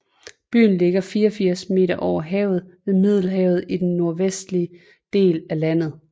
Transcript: Byen ligger 84 meter over havet ved Middelhavet i den nordvestlige del af landet